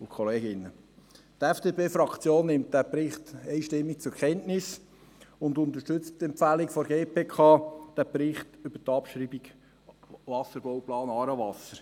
Die FDP-Fraktion nimmt diesen Bericht einstimmig zur Kenntnis und unterstützt die Empfehlung der GPK für einen Bericht über die Abschreibung des Wasserbauplans «Aarewasser».